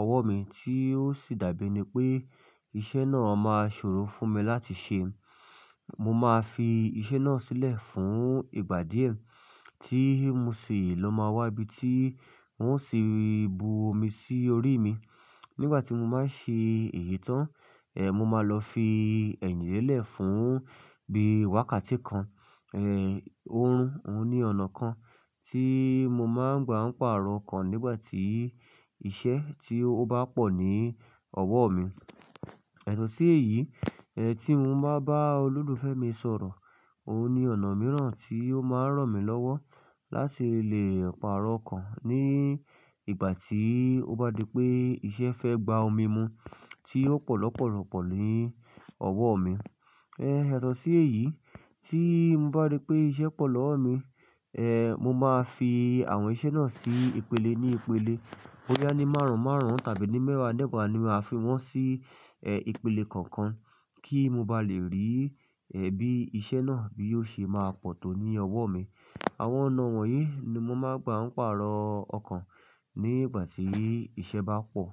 ọwọ́ mi tí ó sì dàbí pé iṣẹ́ náà máa ṣòro fún mi láti ṣe, mo máa fi iṣẹ́ náà sílẹ̀ fún ìgbà díẹ̀ tí mo ṣi lọ́ máa wá bíi tí ń ṣe bu omi sí orí mi. Nígbà tí mo máa ń ṣe èyí tán, mo máa lọ fi ẹ̀yìn lélẹ̀ fún bíi wákàtí kan, ẹ́, òórùn. Ó ní ọ̀nà kan tí mo máa ń gbà ń pàrọ̀ ọkàn nígbà tí iṣẹ́ tí ó bá pọ̀ ní ọwọ́ mi. Yàtò sí èyí, tí mo bá bá olólùfẹ́ mi sọ̀rọ̀, ó ní ọ̀nà mìíràn tí ó máa ń ràn mí lọ́wọ́ láti lè pàrọ̀ ọkàn ní ìgbà tí ó bá di pé iṣẹ́ fẹ́ gba omi mu tí ó pọ̀ lọ́pọ̀lọ́pọ̀ ní ọwọ́ mi. Yàtọ́ sí èyí tí mo bá rí pé iṣẹ́ pọ̀ lọ́wọ́ mi, ẹ́, mo máa fi àwọn iṣẹ́ náà sí ìpele ní ìpele. Bóyá ní márùn-ún márùn-ún tàbí ní mẹ́wàá mewàá ni màá fi wọ́n sí, ẹ́, ìpele kọ̀ọ̀kan kí mo ba lè rí, ẹ́, bí iṣẹ́ náà bí yóò ṣe máa pọ̀ tó ní ọwọ́ mi. Àwọn ọ̀nà wọ̀nyí ni mo máa ń gbà ń pàrọ̀ ọkàn nígbà tí iṣẹ́ bá pọ̀.